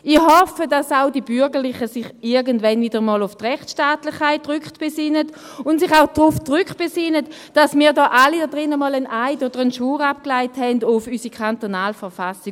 Ich hoffe, dass auch die Bürgerlichen sich irgendwann wieder einmal auf die Rechtstaatlichkeit rückbesinnen und sich auch darauf rückbesinnen, dass wir hier in diesem Saal alle einmal einen Eid oder einen Schwur abgelegt haben auf unsere kantonale Verfassung.